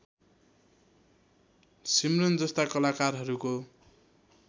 सिमरन जस्ता कलाकारहरूको